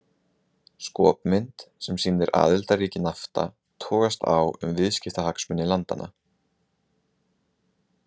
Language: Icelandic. Skopmynd sem sýnir aðildarríki Nafta togast á um viðskiptahagsmuni landanna.